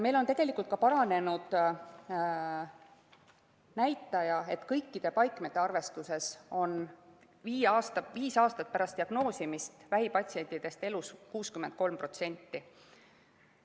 Meil on tegelikult paranenud ka see näitaja, et kõikide paikmete arvestuses on viis aastat pärast diagnoosimist vähipatsientidest elus 63%.